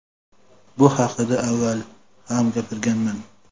Bu haqida avval ham gapirganman .